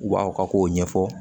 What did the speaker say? U b'aw ka kow ɲɛfɔ